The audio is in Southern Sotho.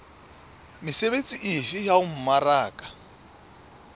mesebetsi efe ya ho mmaraka